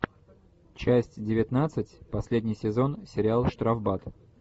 часть девятнадцать последний сезон сериал штрафбат